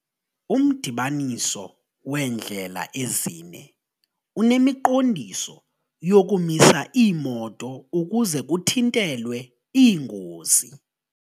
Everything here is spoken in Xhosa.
Umdibaniso weendlela ezine unemiqondiso yokumisa iimoto ukuze kuthintelwe iingozi.